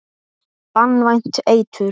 Banvænt eitur.